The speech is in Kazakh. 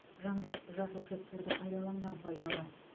жаңғақ жасыл шөптерді пайдаланған пайдалы